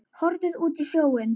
Horfði út á sjóinn.